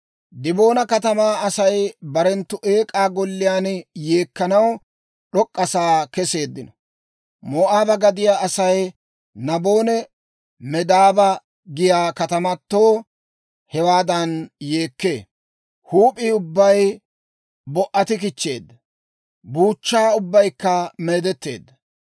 Diboona katamaa Asay barenttu eek'aa golliyaan yeekkanaw d'ok'k'a sa'aa keseeddino. Moo'aaba gadiyaa Asay Nabonne Medaaba giyaa katamatoo hewaadan yeekkee. Huup'ii ubbay bo"atikichcheedda; buuchchaa ubbaykka meedetteedda.